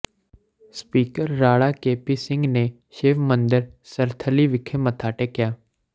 speaker Rana K P Singh ਨੇ ਸ਼ਿਵ ਮੰਦਰ ਸਰਥਲੀ ਵਿਖੇ ਮੱਥਾ ਟੇਕਿਆ